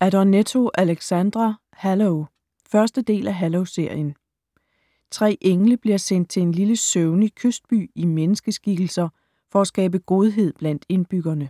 Adornetto, Alexandra: Halo 1. del af Halo-serien. Tre engle bliver sendt til en lille søvnig kystby i menneskeskikkelser for at skabe godhed blandt indbyggerne.